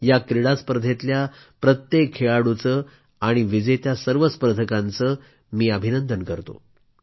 या क्रीडा स्पर्धेतल्या प्रत्येक खेळाडूचे आणि विजेत्या सर्व स्पर्धकांचे मी अभिनंदन करतो